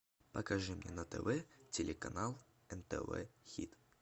покажи мне на тв телеканал нтв хит